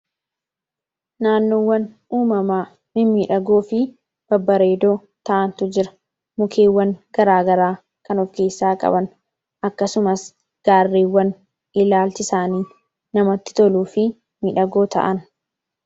naannoowwan uumamaa mi midhagoo fi babbareedoo ta'antu jira mukeewwan garaagaraa kanoof keessaa qaban akkasumas gaarriiwwan ilaalchisaanii namatti toluu fi midhagoo ta'an